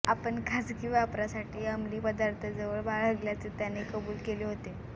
आपण खासगी वापरासाठी अंमली पदार्थ जवळ बाळगल्याचे त्याने कबूल केले होते